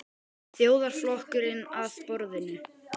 Þjóðarflokkurinn að borðinu?